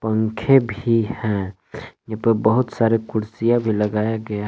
पंखे भी हैं यहां पे बहुत सारे कुर्सियां भी लगाया गया--